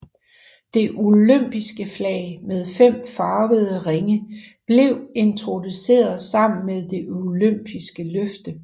Det olympiske flag med fem farvede ringe blev introduceret sammen med det olympiske løfte